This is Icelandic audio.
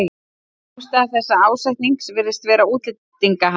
Ástæða þessa ásetnings virðist vera útlendingahatur.